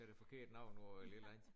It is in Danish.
Siger det forkerte navn og et eller andet